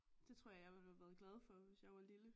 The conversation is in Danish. Det tror jeg jeg ville have været glad for hvis jeg var lille